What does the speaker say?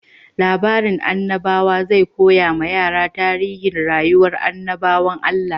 Labarin annabawa zai koya wa yara tarihin rayuwar annabawan Allah.